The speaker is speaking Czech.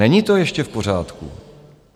Není to ještě v pořádku.